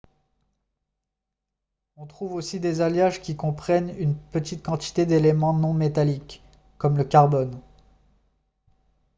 on trouve aussi des alliages qui comprennent une petite quantité d'éléments non métalliques comme le carbone